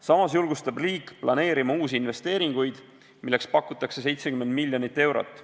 Samas julgustab riik planeerima uusi investeeringuid, milleks pakutakse 70 miljonit eurot.